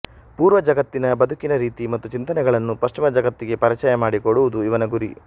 ಪೂರ್ವ ಜಗತ್ತಿನ ಬದುಕಿನ ರೀತಿ ಮತ್ತು ಚಿಂತನೆಗಳನ್ನು ಪಶ್ಚಿಮ ಜಗತ್ತಿಗೆ ಪರಿಚಯ ಮಾಡಿಕೊಡುವುದು ಇವನ ಗುರಿ